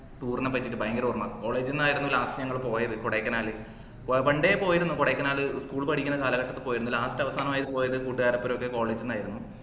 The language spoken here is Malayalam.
tour നപ്പെറ്റിട്ട് ഭയങ്കര ഓർമ്മ college ന്ന് ആയിരുന്നു last നമ്മള് പോയത് കൊടൈക്കനാൽ പണ്ടേ പോയിരുന്നു കൊടൈക്കനാൽ school പഠിക്കുന്ന കാലഘട്ടത്തിൽ പോയിരുന്നു last അവാസനൊക്കെ പോയത് കൂട്ടുകാര ഒപ്പരം college ന്ന് ആയിരുന്നു